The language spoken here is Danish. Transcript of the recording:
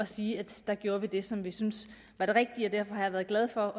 sige at der gjorde vi det som vi synes var det rigtige og derfor har jeg været glad for